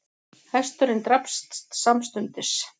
Hesturinn drapst samstundis